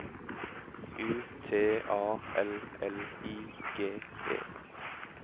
U T A L L I G E